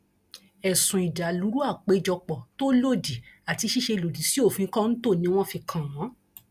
ẹsùn ìdàlúrú àpéjọpọ tó lòdì àti ṣíṣe lòdì sí òfin kọńtò ni wọn fi kàn wọn